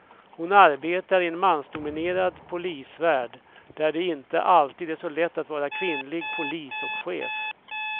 Hon arbetar i en mansdominerad polisvärld där det inte alltid är så lätt att vara kvinnlig polis och chef.